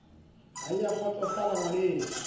ha e a kgotsosofala ngwaneso